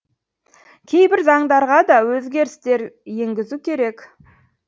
кейбір заңдарға да өзгерістер енгізу керек